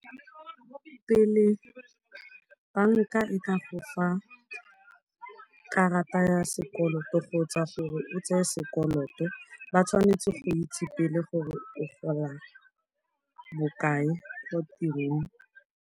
Pele banka e ka go fa karata ya sekoloto kgotsa gore o tseye sekoloto, ba tshwanetse go itse pele gore o gola bokae ko tirong.